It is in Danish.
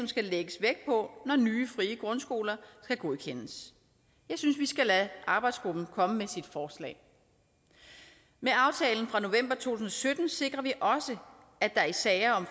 skal lægges vægt på når nye frie grundskoler skal godkendes jeg synes vi skal lade arbejdsgruppen komme med sit forslag med aftalen fra november to tusind og sytten sikrer vi også at der i sager om